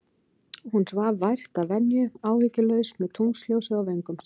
Hún svaf vært að venju, áhyggjulaus, með tunglsljósið á vöngum sér.